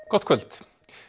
gott kvöld